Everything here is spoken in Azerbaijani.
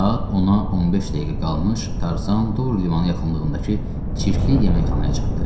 Saat 10-a 15 dəqiqə qalmış Tarzan Dur limanı yaxınlığındakı çirkli yeməkxanaya çatdı.